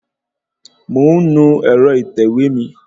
Mò ń nu ẹ̀rọ ìtẹ̀wé mi